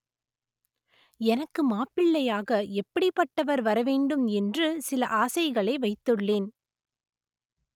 எனக்கு மாப்பிள்ளையாக எப்படிப்பட்டவர் வரவேண்டும் என்று சில ஆசைகளை வைத்துள்ளேன்